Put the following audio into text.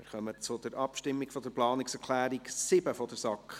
Wir kommen zur Abstimmung über die Planungserklärung 7 der SAK.